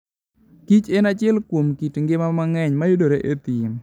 kich en achiel kuom kit ngima mang'eny mayudore e thim.